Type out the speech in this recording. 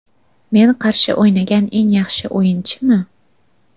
Men qarshi o‘ynagan eng yaxshi o‘yinchimi?